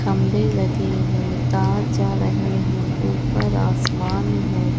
खंबे लगे है। तार जा रहे है। ऊपर आसमान है।